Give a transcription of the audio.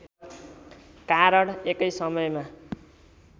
कारण एकै समयमा